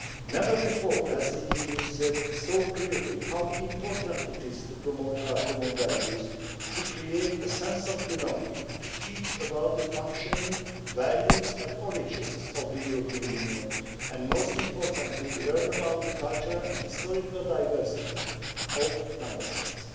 May. Never before has the EU said so clearly how important it is to promote our common values, to create a sense of belonging, to teach about the functioning values and origins of the European Union and, most importantly, to learn about the cultural and historical diversity of Member States.